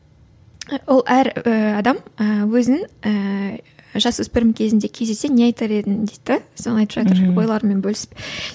і ол әр і адам і өзінің і жасөспірім кезінде кездессе не айтар едің дейді де соны айтып жатыр ойларымен бөлісіп